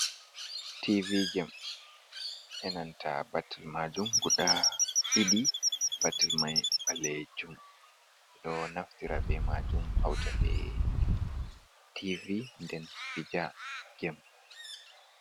Tv jem enanta ɓattil majum guɗa ɗiɗi ɓatil mai ɓale jum ɗo naftira ɓe majum hauta ɓe tv ɗen pija gem.